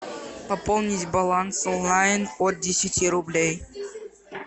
пополнить баланс онлайн от десяти рублей